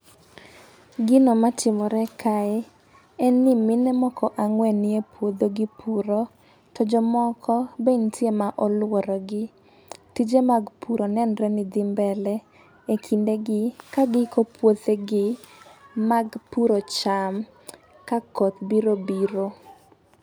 Gino matimore kae en ni mine moko ang'wen nie puodho gipuro to jomoko be ntiere ma oluoro gi. Tije mag puro nenre ni dhi mbele e kindeni ka giiko puothegi mag puro cham ka koth biro biro.